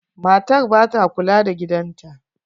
Matar ba ta kula da gidan ta.